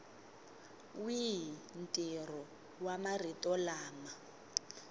wihi ntirho wa marito lama